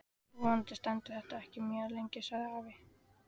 Vonandi stendur þetta ekki mjög lengi sagði afi.